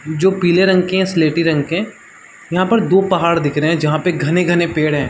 जो पीले रंग की है स्लेटी रंग के यहाँ पर दो पहाड़ दिख रहे है जहाँ पे घने-घने पेड़ हैं ।